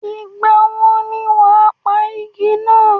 Ìgbà wo ni wàá pa igi náà?